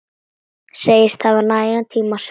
Segist hafa nægan tíma sjálf.